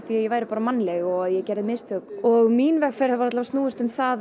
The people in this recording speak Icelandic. ég væri bara mannleg og að ég gerði mistök og mín vegferð hefur alla vega snúist um það